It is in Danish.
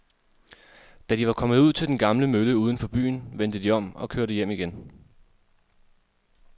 Da de var kommet ud til den gamle mølle uden for byen, vendte de om og kørte hjem igen.